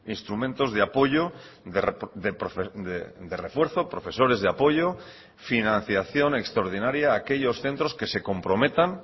instrumentos de apoyo de refuerzo profesores de apoyo financiación extraordinaria a aquellos centros que se comprometan